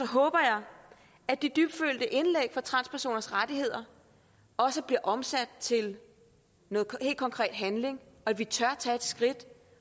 håber jeg at de dybtfølte indlæg for transpersoners rettigheder også bliver omsat til noget helt konkret handling og at vi tør tage et skridt